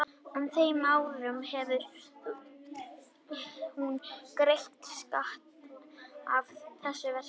En á þeim árum hefur hún greitt skatta af þessu verki.